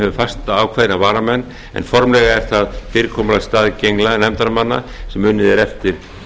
nefnd sem hefur fastákveðna varamenn en formlegra en það fyrirkomulag staðgengla nefndarmanna sem unnið er eftir